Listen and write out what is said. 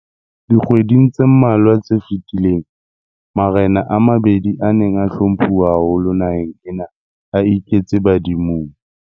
Dikgweding tse mmalwa tse fetileng, marena a mabedi a neng a hlomphuwa haholo naheng ena a iketse badimong.